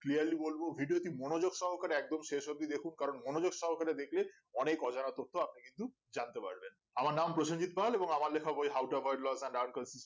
clearly বলবো video টি মনোযোগ সহকারে একদম শেষ ওব্দি দেখুন কারণ মনোযোগ সহকারে দেখলে অনেক অজানা তথ্য আপনি কিন্তু জানতে পারবে আমার নাম প্রসেনজিৎ পাল এবং আমার লেখা বই